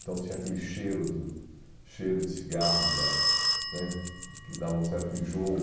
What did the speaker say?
Então tinha aquele cheiro do cheiro de cigarro da né que dava um certo enjoo.